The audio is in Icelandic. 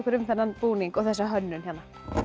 um þennan búning og þessa hönnun hérna